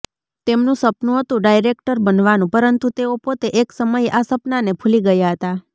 તેમનું સપનું હતું ડાયરેક્ટર બનવાનું પરંતુ તેઓ પોતે એક સમયે આ સપનાને ભૂલી ગયા હતા